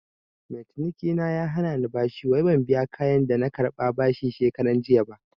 Mai cinikina ya hanani bashi wai ban biya kayan da na karɓa bashi shekaranjiya ba